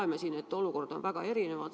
Me loeme, et olukord on riigiti väga erinev.